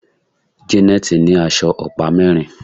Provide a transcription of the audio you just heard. Janet ní aṣọ ọ̀pá mérin.